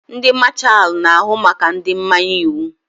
Ndị Mashalu na-ahụ maka ndị mmanye iwu.